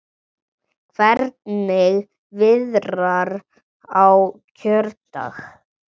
Hvernig viðrar á kjördag?